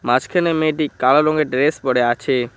মাঝখানের মেয়েটি কালো রঙের ড্রেস পরে আছে।